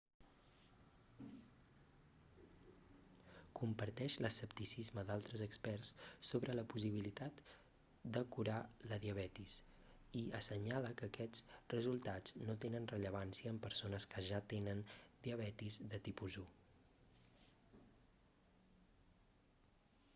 comparteix l'escepticisme d'altres experts sobre la possibilitat de curar la diabetis i assenyala que aquests resultats no tenen rellevància en persones que ja tenen diabetis de tipus 1